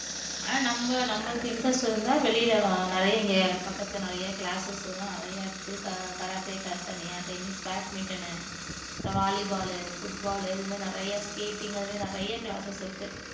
ஆனா நம்ம நம்மளுக்கு interest இருந்தா வெளியில நிறைய இங்க பக்கத்துல நிறைய classes இது எல்லாம் நிறைய இருக்கு karate class தனியா tennis, badminton உ volley ball உ foot ball உ இதுமாதிரி நிறைய skating அது மாதிரி நிறைய classes இருக்கு